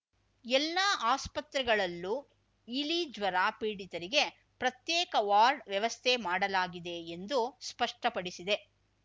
ಎಲ್ಲಾ ಆಸ್ಪತ್ರೆಗಳಲ್ಲೂ ಇಲಿ ಜ್ವರ ಪೀಡಿತರಿಗೆ ಪ್ರತ್ಯೇಕ ವಾರ್ಡ್‌ ವ್ಯವಸ್ಥೆ ಮಾಡಲಾಗಿದೆ ಎಂದು ಸ್ಪಷ್ಟಪಡಿಸಿದೆ